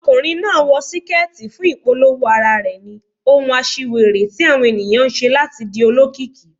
Ọkùnrin náà wọ síkẹ́tì fún ìpolówó ara rẹ̀ ni, ohun aṣiwèrè tí àwọn ẹ̀yàn ń ṣe láti di olókìkí.